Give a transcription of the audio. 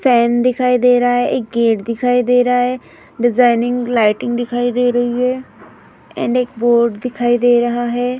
Fan दिखाई दे रहा है एक गेट दिखाई दे रहा है डिजाइनिंग लाइटिंग दिखाई दे रही है एंड एक बोर्ड दिखाई दे रहा है ।